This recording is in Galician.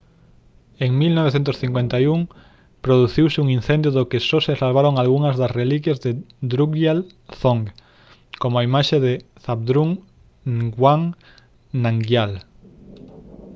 en 1951 produciuse un incendio do que só se salvaron algunhas das reliquias de drukgyal dzong como a imaxe de zhabdrung ngawang namgyal